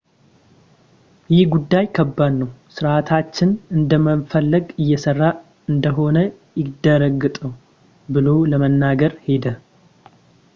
ይህ ጉዳይ ከባድ ነው ሥርዓታችን እንደሚፈለገው እየሰራ እንደሆነ ያረጋግጡ ብሎ ለመናገር ሄደ